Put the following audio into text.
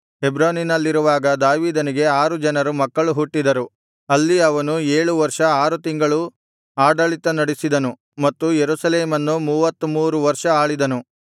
ಹೆಬ್ರೋನಿನಲ್ಲಿರುವಾಗ ದಾವೀದನಿಗೆ ಆರು ಜನರು ಮಕ್ಕಳು ಹುಟ್ಟಿದರು ಅಲ್ಲಿ ಅವನು ಏಳು ವರ್ಷ ಆರು ತಿಂಗಳು ಆಡಳಿತ ನಡೆಸಿದನು ಮತ್ತು ಯೆರೂಸಲೇಮನ್ನು ಮೂವತ್ತಮೂರು ವರ್ಷ ಆಳಿದನು